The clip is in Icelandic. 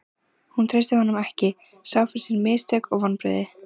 Hún treysti honum ekki, sá fyrir sér mistök og vonbrigði.